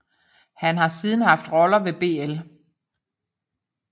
Han har siden haft roller ved bl